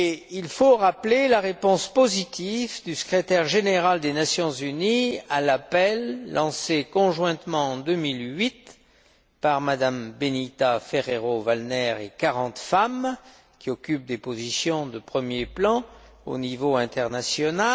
Il faut aussi rappeler la réponse positive du Secrétaire général des Nations unies à l'appel lancé conjointement, en 2008, par M me Benita Ferrero Waldner et quarante femmes qui occupent des positions de premier plan au niveau international.